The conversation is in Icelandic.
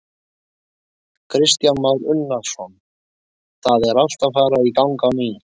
Kristján Már Unnarsson: Það er allt að fara í gang á ný?